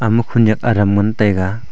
ama khunek adam ngan tega.